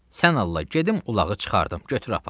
Sən Allah gedim ulağı çıxardım, götür apar.